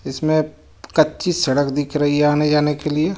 इसमें कच्ची सडक दिख रही हे आने जाने के लिए.